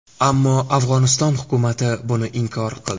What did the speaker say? Ammo Afg‘oniston hukumati buni inkor qildi.